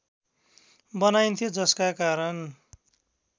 बनाइन्थ्यो जसका कारण